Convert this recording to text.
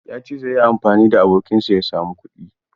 Ya ce zai yi amfani da abokinsa ya samu kuɗi.